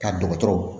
Ka dɔgɔtɔrɔw